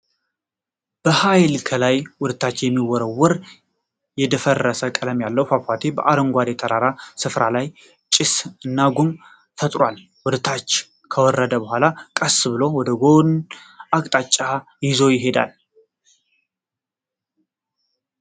በሃይል ከላይ ወደታች የሚወረወር የደፈረሰ ቀለም ያለው ፏፏቴ በአረንጓዴ ተራራማ ስፍራው ላይ ጭስ እና ጉም ፈጥሯል። ወደ ታች ከወረደ በኋላም ቀስ ብሎ ወደ አንድ ጎን አቅጣጫ ይዞ ይሄዳል።